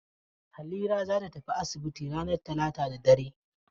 Halira za ta tafi asibiti ranar talata da dare.